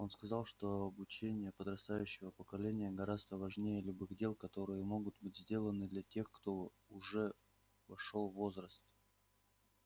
он сказал что обучение подрастающего поколения гораздо важнее любых дел которые могут быть сделаны для тех кто уже вошёл в возраст